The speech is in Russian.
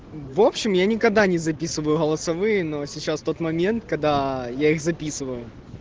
в общем я никогда не записываю голосовые но сейчас тот момент когда я их записываю